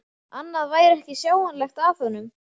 Annað væri ekki sjáanlegt að honum.